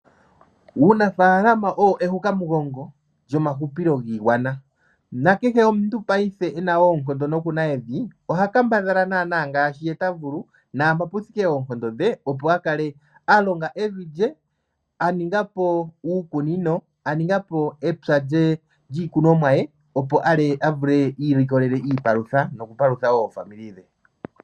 Uunafaalama owo ehukamugongo lyomahupilo giigwana. Kehe omuntu paife e na oonkondo noku na evi oha kambadhala naanaa ngaashi ta vulu naampoka pu thike oonkondo dhe, opo a kale a longa evi lye. A ninga po uukunino, a ninga po epya lye lyiikunomwa ye, opo iilikolele iipalutha nokupalutha wo aapambele ye.